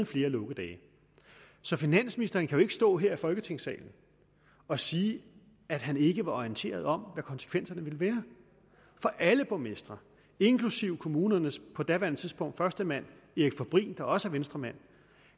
flere lukkedage så finansministeren kan jo ikke stå her i folketingssalen og sige at han ikke var orienteret om hvad konsekvenserne ville blive for alle borgmestre inklusive kommunernes på daværende tidspunkt førstemand erik fabrin der også er venstremand